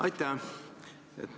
Aitäh!